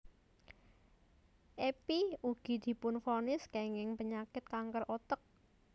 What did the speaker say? Epy ugi dipunvonis kénging penyakit kanker otek